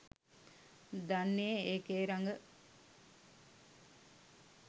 දන්නේ ඒකේ රඟ.